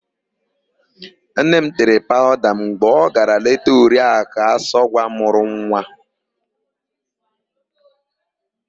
Nne m tere paụda mgbe ọ gara leta Oriakụ Asọgwa mụrụ nwa.